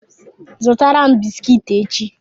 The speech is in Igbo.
Zụtara m bisikiti echi!